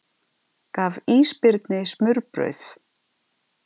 Gaf ísbirni smurbrauð